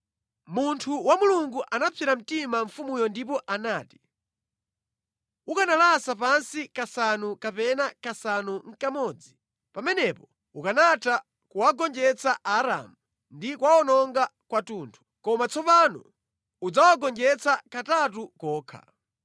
Munthu wa Mulungu anapsera mtima mfumuyo ndipo anati, “Ukanalasa pansi kasanu kapena kasanu nʼkamodzi. Pamenepo ukanatha kuwagonjetsa Aaramu ndi kuwawononga kwathunthu. Koma tsopano udzawagonjetsa katatu kokha.”